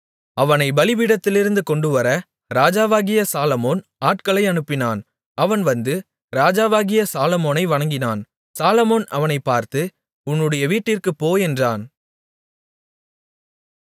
அவனை பலிபீடத்திலிருந்து கொண்டுவர ராஜாவாகிய சாலொமோன் ஆட்களை அனுப்பினான் அவன் வந்து ராஜாவாகிய சாலொமோனை வணங்கினான் சாலொமோன் அவனைப் பார்த்து உன்னுடைய வீட்டிற்குப் போ என்றான்